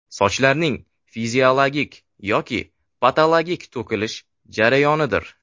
Sochlarning fiziologik yoki patologik to‘kilish jarayonidir.